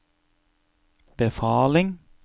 befaling